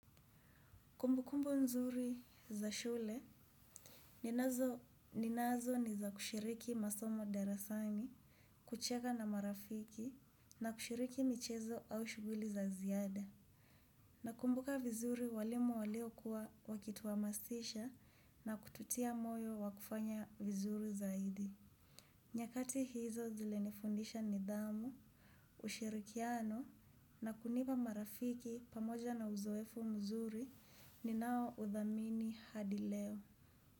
Kumbu kumbu nzuri za shule, ninazo ni za kushiriki masomo darasani, kucheka na marafiki, na kushiriki michezo au shughuli za ziad.a. Nakumbuka vizuri walimu waliokuwa wakituhamasisha na kututia moyo wa kufanya vizuri zaidi. Nyakati hizo zilinifundisha nidhamu, ushirikiano na kunipa marafiki pamoja na uzoefu mzuri ninaohudhamini hadi leo.